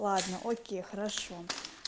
ладно окей хорошо